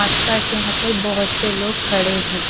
आसपास यहां पर बहोत से लोग खड़े हैं।